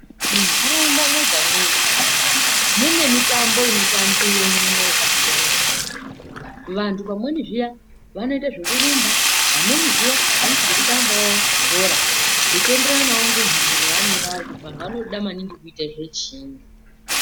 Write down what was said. Muntaraunda mwega mwega mune mitambo inotambiwemwo yakasiyana siyana vanthu pamweni zviya vanoita zvekurumba pamweni zviya vanoite zvekutambawo bhora zveienderanawo nenharaunda yaanengevari kuti vanthu vanoda maningi kuita zvezhiinyi.